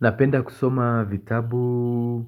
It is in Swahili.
Napenda kusoma vitabu